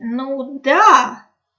ну да